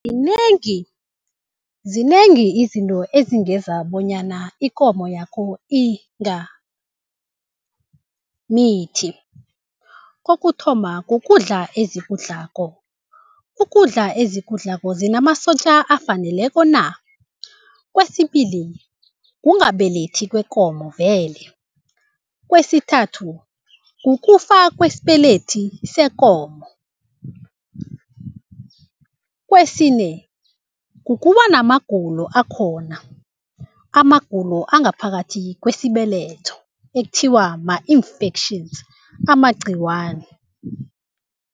Zinengi, zinengi izinto ezingenza bonyana ikomo yakho ingamithi. Kokuthoma kukudla ezikudlako, ukudla ezikudlako zinamasotja afaneleko na? Kwesibili kungabelethi kwekomo vele, kwesithathu kukufa kwesibelethi sekomo, kwesine kukuba namagulo akhona, amagulo angaphakathi kwesibeletho ekuthiwa ma-infections amagcikwani.